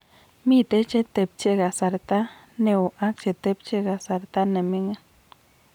Mitei chetepche kasarta neo ak chetepche kasarta nemining